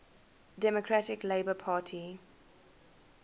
democratic labour party